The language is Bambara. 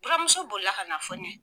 Buramuso bolila ka na fɔ n ye.